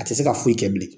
A tɛ se ka foyi kɛ bilen